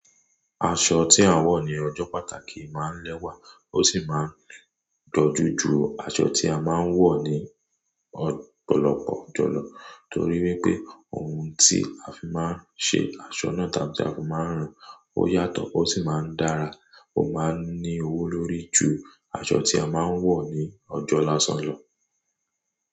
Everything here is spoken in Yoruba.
Aṣọ tí a n wọ̀ ní ọjọ́ pàtàkì máa ń lẹ́wà ó sì máa ń dojú ju aṣọ tí a máa ń wọ̀ ní o, ọ̀pọ̀lọpọ̀ ọjọ́ lọ. Torí wípé ohun tí a fi máa ń ṣe aṣọ náà, tàbí tí a fi máa ń ràn á, ó yàtọ̀ ó sì máa ń dára. Ó máa ń ní owó lórí ju aṣọ tí a máa ń wọ̀ ní ọjọ́ lásán lọ.